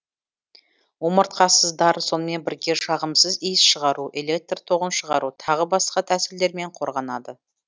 омыртқасыздар сонымен бірге жағымсыз иіс шығару электр тоғын шығару тағы басқа тәсілдермен қорғанады